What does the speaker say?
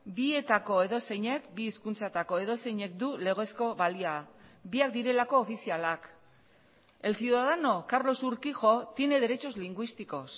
bietako edozeinek bi hizkuntzetako edozeinek du legezko balia biak direlako ofizialak el ciudadano carlos urquijo tiene derechos lingüísticos